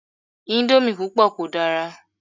Íńdómì púpọ̀ kò dára.